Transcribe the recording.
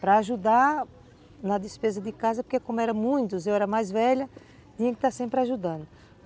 Para ajudar na despesa de casa, porque como eram muitos, eu era mais velha, tinha que estar sempre ajudando.